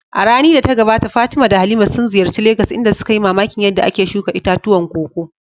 A rani da ta gabata Fatima da Halima sun ziyarci Legas inda suka yi mamakin yadda ake shuka itatuwan koko.